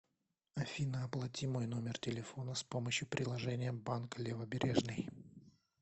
афина оплати мой номер телефона с помощью приложения банк левобережный